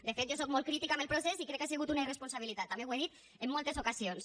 de fet jo soc molt crítica amb el procés i crec que ha sigut una irresponsabilitat també ho he dit en moltes ocasions